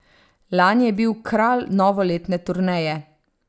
Lani je bil kralj novoletne turneje.